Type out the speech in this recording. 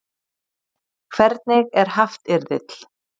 Hvernig er haftyrðill?